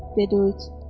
Dedi Uyid.